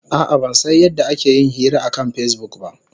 A'a, ban san yadda ake yin hira akan Facebook ba.